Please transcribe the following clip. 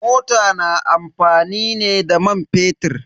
Mota na amfani ne da man fetir.